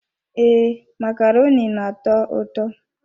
Ee, macaroni na-atọ ụtọ.